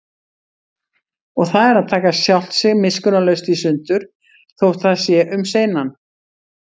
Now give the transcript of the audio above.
Og það er að taka sjálft sig miskunnarlaust í sundur, þótt það sé um seinan.